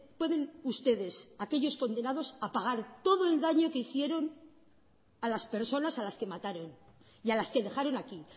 pueden ustedes aquellos condenados a pagar todo el daño que hicieron a las personas a las que mataron y a las que dejaron aquí